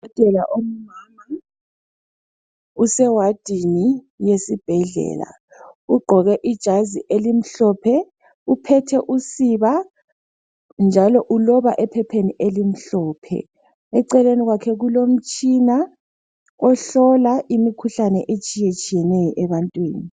Udokotela ongumama use wadini ysibhedlela ugqoke ijazi elimhlophe ,uphethe usiba njalo uloba ephepheni elimhlophe , eceleni kwakhe kulomtshina ohlola imikhuhlane atshiyetshiyeneyo ebantwini